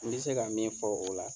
N bɛ se ka min fɔ o la.